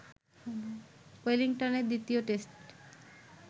ওয়েলিংটনে দ্বিতীয় টেস্ট